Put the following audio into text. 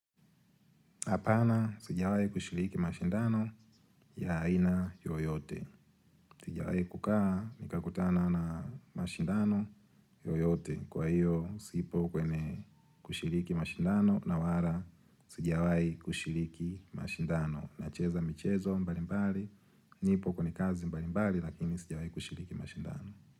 Apana, sijawahi kushiriki mashindano ya aina yoyote. Sijawahi kukaa, nikakutana na mashindano yoyote. Kwa hiyo, sipo kwenye kushiriki mashindano, na wala, sijawahi kushiriki mashindano. Nacheza michezo mbalimbali, nipo kwenye kazi mbalimbali, lakini sijawahi kushiriki mashindano.